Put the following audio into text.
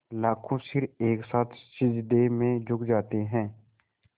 लाखों सिर एक साथ सिजदे में झुक जाते हैं